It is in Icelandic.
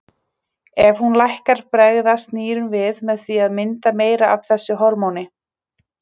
Ef hún lækkar bregðast nýrun við með því að mynda meira af þessu hormóni.